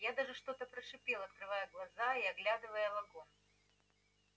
я даже что-то прошипел открывая глаза и оглядывая вагон